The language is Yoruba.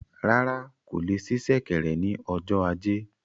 Rárá, kò le sí ṣẹ̀kẹ̀rẹ̀ ni ọjọ ajé